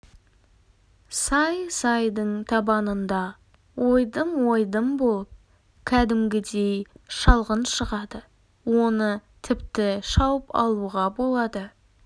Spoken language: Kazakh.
сай-сайдың табанында ойдым-ойдым болып кәдімгідей шалғын шығады оны тіпті шауып алуға болады